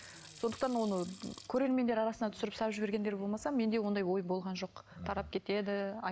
сондықтан оны көрермендер арасында түсіріп салып жібергендер болмаса менде ондай ой болған жоқ тарап кетеді